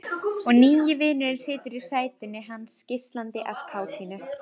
Og nýi vinurinn situr í sætinu hans, geislandi af kátínu.